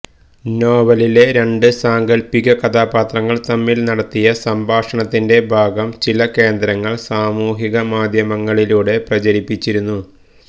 നോവലിലെ രണ്ട് സാങ്കല്പിക കഥാപാത്രങ്ങള് തമ്മില് നടത്തിയ സംഭാഷണത്തിന്റെ ഭാഗം ചില കേന്ദ്രങ്ങള് സാമൂഹിക മാധ്യമങ്ങളിലൂടെ പ്രചരിപ്പിച്ചിരുന്നു